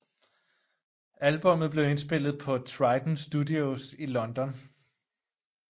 Albummet blev indspillet på Trident Studios i London